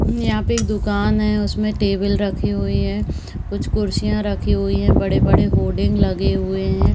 यहाँ पे एक दुकान है। उसमे टेबल रखी हुई हैं। कुछ कुर्सियां रखी हुई हैं। बड़े-बड़े होर्डिंग लगे हुए हैं।